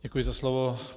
Děkuji za slovo.